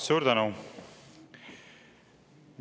Suur tänu!